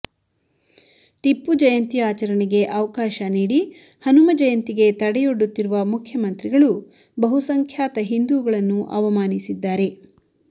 ಟಿಪ್ಪು ಜಯಂತಿ ಆಚರಣೆಗೆ ಅವಕಾಶ ನೀಡಿ ಹನುಮ ಜಯಂತಿಗೆ ತಡೆಯೊಡ್ಡುತ್ತಿರುವ ಮುಖ್ಯಮಂತ್ರಿಗಳು ಬಹುಸಂಖ್ಯಾತ ಹಿಂದೂಗಳನ್ನು ಅವಮಾನಿಸಿದ್ದಾರೆ